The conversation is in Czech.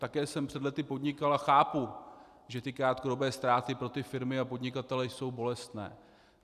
Také jsem před léty podnikal a chápu, že ty krátkodobé ztráty pro ty firmy a podnikatele jsou bolestné.